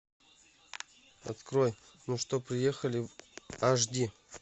открой ну что приехали аш ди